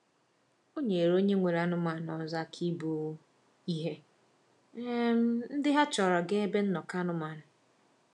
O nyeere onye nwere anụmanụ ọzọ aka ibu ihe um ndị ha chọrọ gaa ebe nnọkọ anụmanụ.